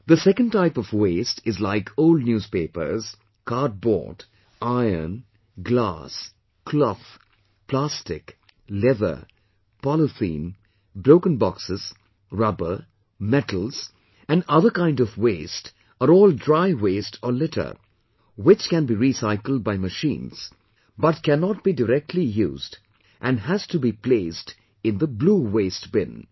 The second type of waste is like old newspapers, cardboard, iron, glass, cloth, plastic, leather, polythene, broken boxes, rubber, metals and other kind of waste are all dry waste or litter which can be recycled by machines but cannot be directly used and has to be placed in the blue waste bin